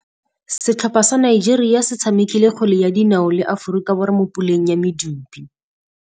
Setlhopha sa Nigeria se tshamekile kgwele ya dinaô le Aforika Borwa mo puleng ya medupe.